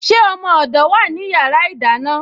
Ṣé ọmọ odó wá ní yàrá ìdáná?